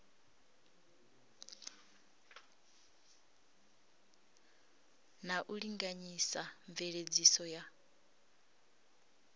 na u linganyisa mveledziso ya